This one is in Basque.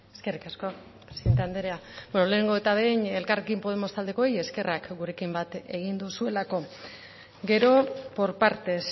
zurea da hitza eskerrik asko presidente anderea beno lehenengo eta behin elkarrekin podemos taldekoei eskerrak gurekin bat egin duzuelako gero por partes